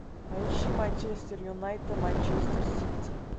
поищи манчестер юнайтед манчестер сити